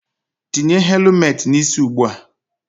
Tinye helumet n'isi ụgbụa!